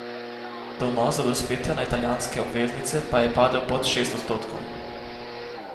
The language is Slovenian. Donos do dospetja na italijanske obveznice pa je padel pod šest odstotkov.